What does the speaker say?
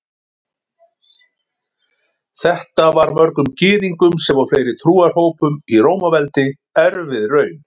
Þetta var mörgum Gyðingum sem og fleiri trúarhópum í Rómaveldi erfið raun.